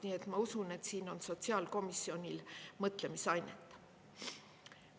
Nii et ma usun, et siin on sotsiaalkomisjonil mõtlemisainet.